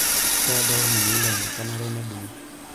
Keedo olmunyie lenye kenare nedungi.